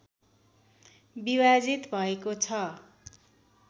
विभाजित भएको छ